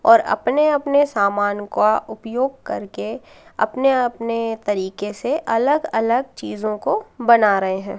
और अपने अपने सामान का उपयोग करके अपने अपने तरीके से अलग अलग चीजों को बना रहे हैं।